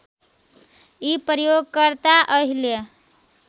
यी प्रयोगकर्ता अहिले